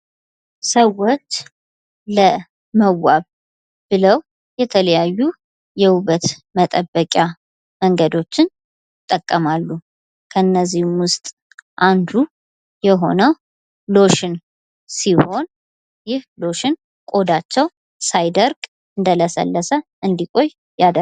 ሰዎች ለመዋብ ብለው የተለያዩ የውበት መጠበቂያ መንገዶችን ይጠቀማሉ ከእነዚህም ውስጥ አንዱ የሆነው ሎሽን ሲሆን ይህ ሎሽን ቆዳቸው ሳይደርቅ እንደለሰለሰ እንዲቆይ ያደርጋል።